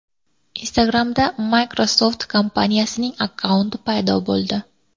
Instagram’da Microsoft kompaniyasining akkaunti paydo bo‘ldi .